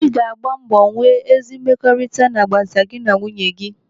Ị ga agba mbọ nwee ezi mmekọrịta n'agbata gị na nwunye dị gị.